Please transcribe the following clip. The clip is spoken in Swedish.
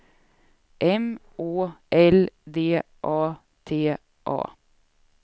M Å L D A T A